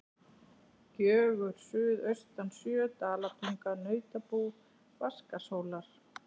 Gjögur suðaustan sjö, Dalatanga, Nautabú, Vatnsskarðshóla.